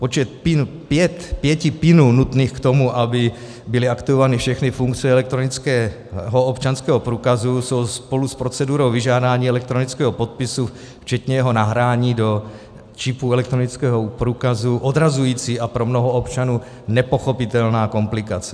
Počet pěti pinů nutných k tomu, aby byly aktivovány všechny funkce elektronického občanského průkazu, je spolu s procedurou vyžádání elektronického podpisu včetně jeho nahrání do čipu elektronického průkazu odrazující a pro mnoho občanů nepochopitelná komplikace.